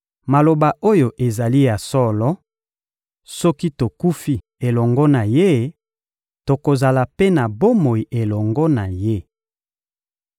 Maloba oyo ezali ya solo: Soki tokufi elongo na Ye, tokozala mpe na bomoi elongo na Ye.